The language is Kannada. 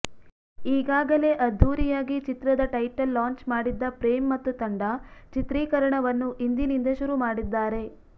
ಈಗಾಗಲೆ ಅದ್ಧೂರಿಯಾಗಿ ಚಿತ್ರದ ಟೈಟಲ್ ಲಾಂಚ್ ಮಾಡಿದ್ದ ಪ್ರೇಮ್ ಮತ್ತು ತಂಡ ಚಿತ್ರೀಕರಣವನ್ನು ಇಂದಿನಿಂದ ಶುರು ಮಾಡಿದ್ದಾರೆ